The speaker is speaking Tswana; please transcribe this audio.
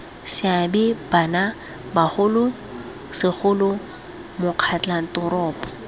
seabe bano bogolo segolo makgotlatoropo